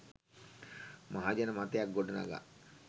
මහජන මතයක් ගොඩනඟා